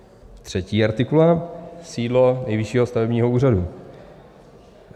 Třetí artikul - Sídlo Nejvyššího stavebního úřadu.